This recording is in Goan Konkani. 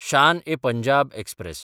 शान–ए–पंजाब एक्सप्रॅस